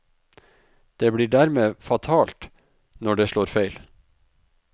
Det blir dermed fatalt når det slår feil.